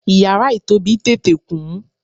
iyara itobi tete kun